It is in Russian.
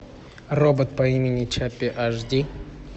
робот по имени чаппи аш ди